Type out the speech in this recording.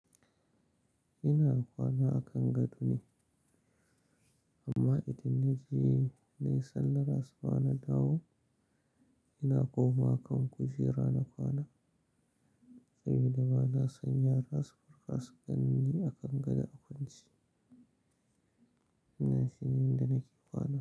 Ina kwana a kan gado ne, amma idan na je na yi sallah asuba na dawo, ina komawa kan kujera na kwana. Sabida ba na san yara su farka su ganni a kan gado a kwance. Ina shine yanda nake kwana.